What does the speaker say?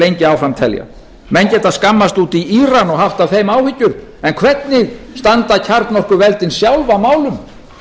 lengi áfram telja menn geta skammast út í íran og haft af þeim áhyggjur en hvernig standa kjarnorkuveldin sjálf að málum